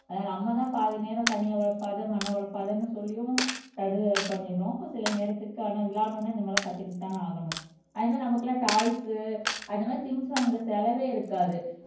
அதாவது நம்மதான் பாதி நேரம் தண்ணிய உழப்பாத மண்ணை குழப்பாதன்னு சொல்லியும் பண்ணிறோம் சில நேரத்துக்கான விளையாடுன உடனே இந்தமாறிலாம் கத்துக்கிட்டுதான ஆகணும் அதே மாதிரி நமக்கெல்லாம் டாய்ஸ் அந்த மாதிரி திங்ஸ் வாங்குற செலவே இருக்காது